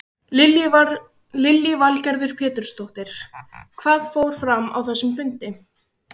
Lillý Valgerður Pétursdóttir: Hvað fór fram á þessum fundi?